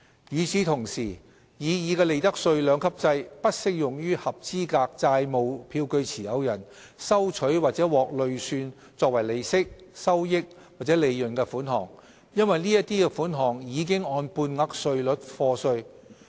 與此同時，擬議的利得稅兩級制不適用於合資格債務票據持有人收取或獲累算作為利息、收益或利潤的款項，因為該等款項已按半額稅率課稅。